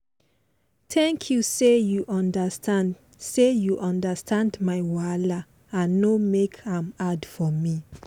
thank you say you understand say you understand my wahala and no make am hard for me.